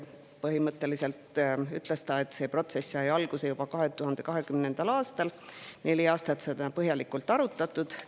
Põhimõtteliselt ütles ta, et see protsess sai alguse juba 2020. aastal ja neli aastat on seda põhjalikult arutatud.